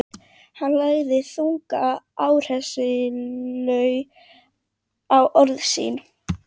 Hann lagði þunga áherslu á orð sín.